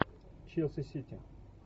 челси сити